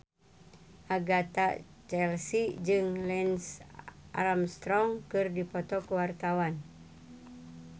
Agatha Chelsea jeung Lance Armstrong keur dipoto ku wartawan